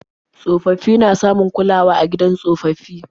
Tsofaffi na samun kulawa a gidan tsofaffi.